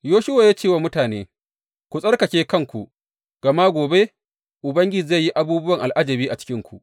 Yoshuwa ya ce wa mutane, Ku tsarkake kanku, gama gobe Ubangiji zai yi abubuwan al’ajabi a cikinku.